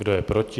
Kdo je proti?